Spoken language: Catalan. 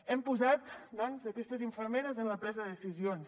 hem posat doncs aquestes infermeres en la presa de decisions